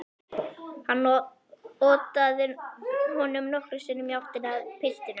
Hann otaði honum nokkrum sinnum í áttina að piltinum.